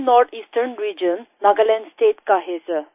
मैं north eastern region Nagaland state का है सर